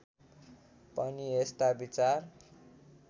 पनि यस्ता विचार